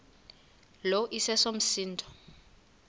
lo iseso msindo